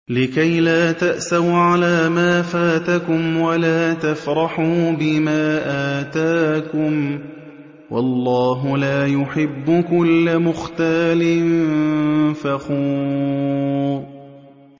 لِّكَيْلَا تَأْسَوْا عَلَىٰ مَا فَاتَكُمْ وَلَا تَفْرَحُوا بِمَا آتَاكُمْ ۗ وَاللَّهُ لَا يُحِبُّ كُلَّ مُخْتَالٍ فَخُورٍ